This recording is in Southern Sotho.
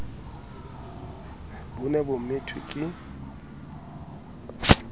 bo ne bo methwe ke